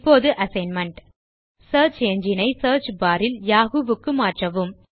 இந்த assignment search engine ஐ search bar இல் யாஹூ க்கு மாற்றவும்